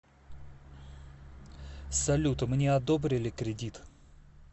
салют мне одобрили кредит